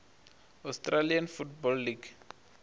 australian football league